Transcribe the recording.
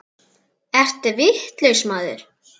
Ertu vitlaus maður?